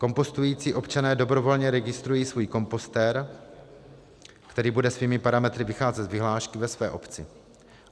Kompostující občané dobrovolně registrují svůj kompostér, který bude svými parametry vycházet z vyhlášky ve své obci.